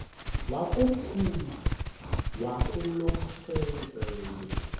wakomkhulu wakulomfetlho fonis